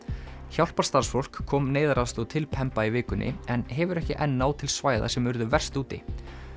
hjálparstarfsfólk kom neyðaraðstoð til Pemba í vikunni en hefur ekki enn náð til svæða sem urðu verst úti